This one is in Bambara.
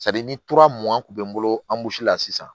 ni kun be n bolo la sisan